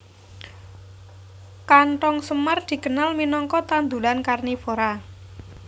Kanthong semar dikenal minangka tanduran karnivora